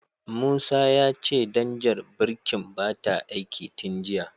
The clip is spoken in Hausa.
Musa ya ce danjar birkin bata aiki tin jiya.